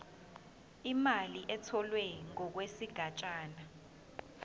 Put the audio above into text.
imali etholwe ngokwesigatshana